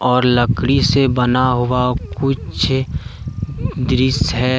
और लकड़ी से बना हुआ कुछ दृश्य है ।